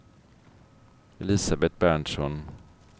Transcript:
Elisabet Berntsson